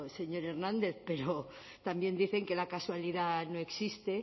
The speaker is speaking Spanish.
señor hernández pero también dicen que la casualidad no existe